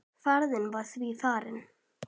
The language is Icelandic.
Ferðin var því farin.